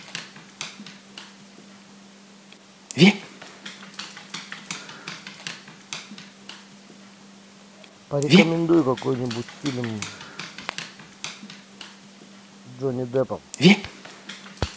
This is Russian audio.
порекомендуй какой нибудь фильм с джонни деппом